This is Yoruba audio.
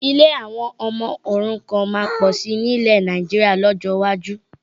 Ilé àwọn ọmọ òrukàn máa pọ̀ sí nilẹ Nàìjíríà lọ́jọ́ iwájú